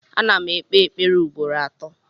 Ana m ekpe ekpere ugboro atọ